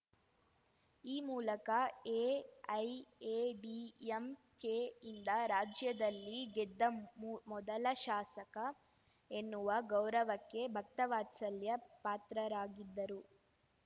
ಈ ಮೂಲಕ A I A D M K ಯಿಂದ ರಾಜ್ಯದಲ್ಲಿ ಗೆದ್ದ ಮು ಮೊದಲ ಶಾಸಕ ಎನ್ನುವ ಗೌರವಕ್ಕೆ ಭಕ್ತವತ್ಸಲ್ಯ ಪಾತ್ರರಾಗಿದ್ದರು